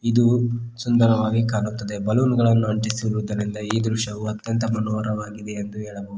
ಇದು ಸುಂದರವಾಗಿ ಕಾಣುತ್ತದೆ ಬಲೂನ್ ಗಳನು ಅಂಟಿಸಿರುವುದರಿಂದ ಈ ದೃಶ್ಯವೂ ಅತ್ಯಂತ ಮನೋರವಾಗಿದೆ ಎಂದು ಹೇಳಬಹುದು.